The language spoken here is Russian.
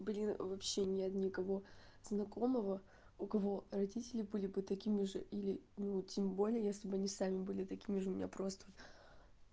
блин вообще нет никого знакомого у кого родители были бы такими же или ну тем более если бы они сами были такими же у меня просто